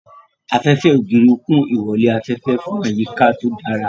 Afẹ́fẹ́ ògiri kún ìwọlé afẹ́fẹ́ fún àyíká tó dára.